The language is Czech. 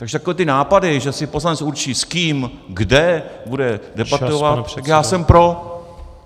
Takže takové ty nápady, že si poslanec určí s kým kde bude debatovat , tak já jsem pro.